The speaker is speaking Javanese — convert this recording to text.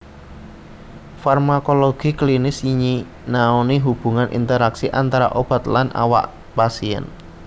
Farmakologi klinis nyinaoni hubungan interaksi antara obat lan awak pasien